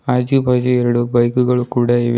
ಆಜು ಬಾಜು ಎರಡು ಬೈಕುಗಳು ಕೂಡ ಇವೆ.